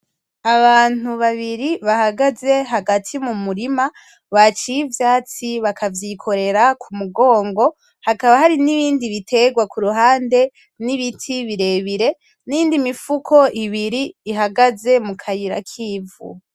Abantu babiri bahagaze hagati mu murima baciye ivyatsi bakavyikorera ku mugongo, hakaba hari n’ibindi bitegwa ku ruhande, n’ibiti birebire n’iyindi mifuko ibiri ihagaze mu kayira k’ivu.